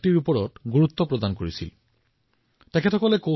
তেওঁলোকে দক্ষতা কৌশল বিশ্বাসক সংযোগ কৰি আমাৰ জীৱন দৰ্শনৰ এক অংশ কৰি তুলিছে